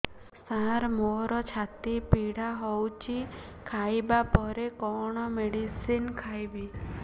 ସାର ମୋର ଛାତି ପୀଡା ହଉଚି ଖାଇବା ପରେ କଣ ମେଡିସିନ ଖାଇବି